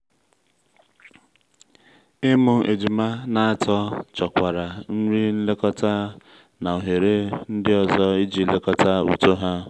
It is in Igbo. ịmụ ejima na atọ chọkwara nri nlekọta na ohere ndị ọzọ iji lekọta uto ha.